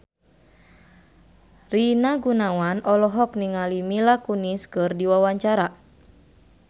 Rina Gunawan olohok ningali Mila Kunis keur diwawancara